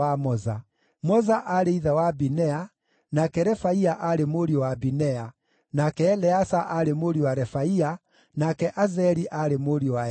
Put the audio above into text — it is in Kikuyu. Moza aarĩ ithe wa Binea, nake Refaia aarĩ mũriũ wa Binea, nake Eleasa aarĩ mũriũ wa Refaia, nake Azeli aarĩ mũriũ wa Eleasa.